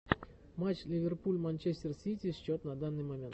матч ливерпуль манчестер сити счет на данный момент